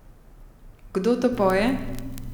Kdo to poje?